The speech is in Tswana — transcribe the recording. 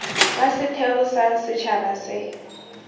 wa setheo sa setšhaba se